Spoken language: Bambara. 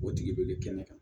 O tigi de bɛ kɛnɛ kan